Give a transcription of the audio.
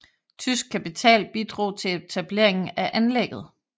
Tysk kapital bidrog til etablering af anlægget